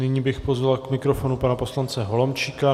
Nyní bych pozval k mikrofonu pana poslance Holomčíka.